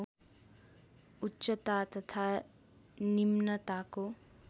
उच्चता तथा निम्नताको